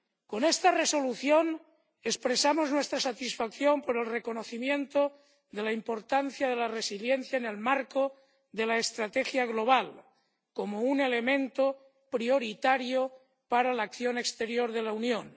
Con esta Resolución expresamos nuestra satisfacción por el reconocimiento de la importancia de la resiliencia en el marco de la estrategia global, como un elemento prioritario para la acción exterior de la Unión.